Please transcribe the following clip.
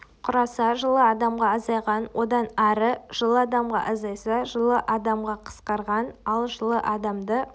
құраса жылы адамға азайған одан ары жылы адамға азайса жылы адамға қысқарған ал жылы адамды